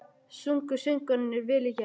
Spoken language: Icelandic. Sungu söngvararnir vel í gær?